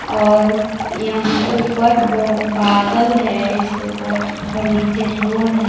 और यहां ऊपर ब बादल है इसके ऊपर और नीचे रोड है।